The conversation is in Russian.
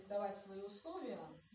давай свои условия